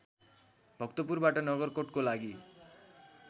भक्तपुरबाट नगरकोटको लागि